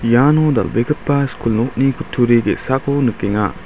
iano dal·begipa skul nokni kutturi ge·sako nikenga.